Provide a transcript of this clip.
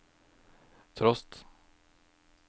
trost